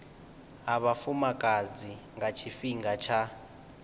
ha vhafumakadzi nga tshifhinga tsha